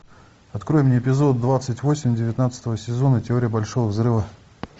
открой мне эпизод двадцать восемь девятнадцатого сезона теория большого взрыва